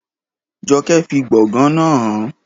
Jọkẹ́ fi gbọ̀ngàn náà hàn án